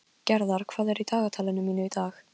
Gerðar, hvað er í dagatalinu mínu í dag?